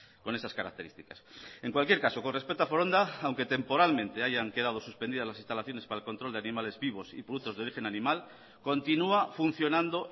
con esas características en cualquier caso con respecto a foronda aunque temporalmente hayan quedado suspendidas las instalaciones para el control de animales vivos y productos de origen animal continúa funcionando